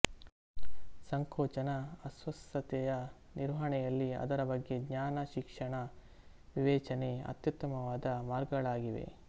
ಸಂಕೋಚನ ಅಸ್ವಸ್ಥತೆಯ ನಿರ್ವಹಣೆಯಲ್ಲಿ ಅದರ ಬಗ್ಗೆ ಜ್ಞಾನ ಶಿಕ್ಷಣ ವಿವೇಚನೆ ಅತ್ಯುತ್ತಮವಾದ ಮಾರ್ಗಗಳಾಗಿವೆ